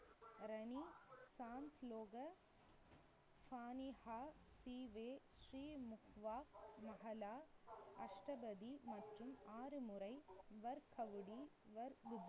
மற்றும் ஆறு முறை வர்க்கவுடி